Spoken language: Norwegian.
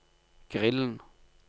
grillen